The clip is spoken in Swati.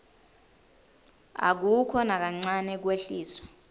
akukho nakancane kwehliswa